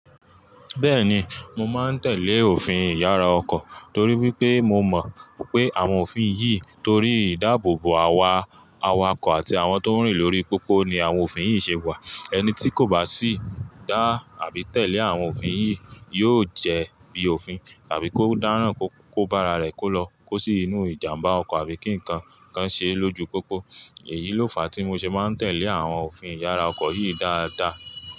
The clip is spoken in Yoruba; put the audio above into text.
Bẹ́ẹ̀ni, mo máa ń tẹ̀lé òfin ìyára ọkọ̀ torí wípé mo mọ̀ pé àwọn òfin yìí, torí ìdáàbòbò àwa awakọ̀ àti àwọn tó ń rìn lórí pópó ni àwọn òfin yìí ṣe wà. Ẹni tí kò bá sì dá àbí tẹ̀lé àwọn òfin yìí yóò jẹ́ bí òfin àbí kó dáràn kó bá ara rẹ̀, kó lọ kó sí inú ìjàǹbá ọkọ̀ àbí kí ǹkan kan ṣe é lójú pópó. Èyí ló fà á tí mo ṣe máa ń tẹ̀lé àwọn òfin ìyára ọkọ̀ yìí dáadáa.